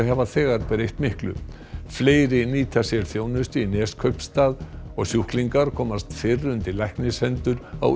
hafa þegar breytt miklu fleiri nýta sér þjónustu í Neskaupstað og sjúklingar komast fyrr undir læknishendur á